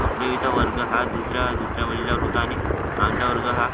अकरावीचा वर्ग हा दुसऱ्या दुसऱ्या मजल्यावर होता आणि आमचा वर्ग हा